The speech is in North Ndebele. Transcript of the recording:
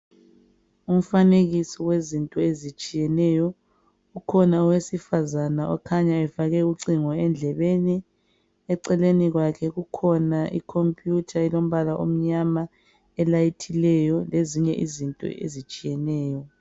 Umfanekiso wezinto ezitshiyeneyo. Kukhona owesifazana okhanya efake ucingo endlebeni. Eceleni kwakhe kukhona ikhompiyutha elombala omnyama elayithileyo lezinye izinto ezitshiyeneyo.